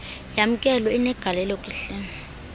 yamkelwe inegalelo kuhlelo